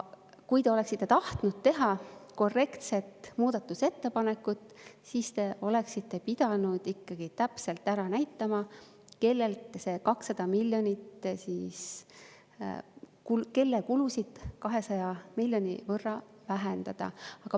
Kui te oleksite tahtnud teha korrektset muudatusettepanekut, siis te oleksite pidanud ikkagi täpselt ära näitama, kellelt see 200 miljonit, kelle kulusid 200 miljoni võrra vähendada.